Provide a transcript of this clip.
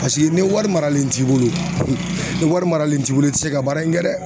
Paseke ni wari maralen t'i bolo ni wari maralen t'i bolo i ti se ka baara in kɛ dɛ